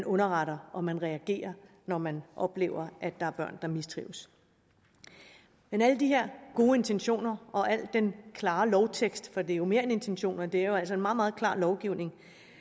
underretter og man reagerer når man oplever at der er børn der mistrives men alle de her gode intentioner og al den klare lovtekst for det er jo mere end intentioner det er jo altså en meget meget klar lovgivning